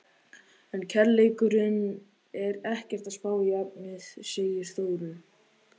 En kærleikurinn er ekkert að spá í efnið, segir Þórunn.